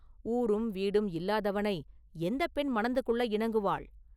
ஊரும் வீடும் இல்லாதவனை எந்தப் பெண் மணந்து கொள்ள இணங்குவாள்?